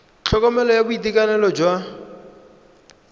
tlhokomelo ya boitekanelo jwa bomme